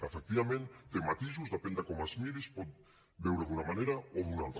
efectivament té matisos depèn de com es miri es pot veure d’una manera o d’una altra